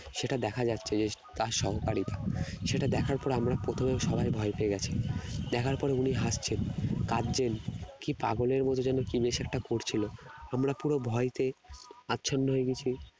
সেটা দেখা যাচ্ছে যে তার সহকারী সেটা দেখার পর আমরা প্রথমে সবাই ভয় পেয়ে গেছি দেখার পরে তিনি হাসছেন কাঁদছেন কি পাগলের মত যেন কি নেশা একটা করছিল আমরা পুরো ভয় পেয়ে আচ্ছন্ন হয়ে গেছি